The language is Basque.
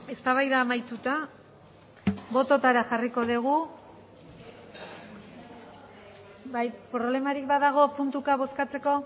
eztabaida amaituta botoetara jarriko dugu bai problemarik badago puntuka bozkatzeko